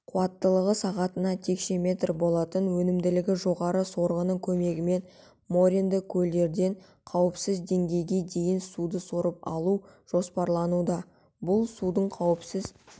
қуаттылығы сағатына текше метр болатын өнімділігі жоғары сорғының көмегімен моренді көлдерден қауіпсіз деңгейге дейін суды сорып алу жоспарлануда бұл судың қауіпсіз